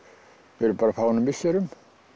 fyrir bara fáeinum misserum